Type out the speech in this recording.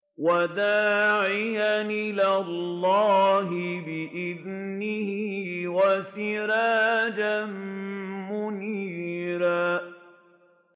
وَدَاعِيًا إِلَى اللَّهِ بِإِذْنِهِ وَسِرَاجًا مُّنِيرًا